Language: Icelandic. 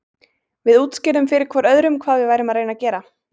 Við útskýrðum fyrir hvor öðrum hvað við værum að reyna að gera.